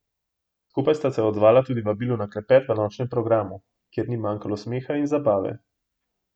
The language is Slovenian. Skupaj sta se odzvala tudi vabilu na klepet v nočnem programu, kjer ni manjkalo smeha in zabave.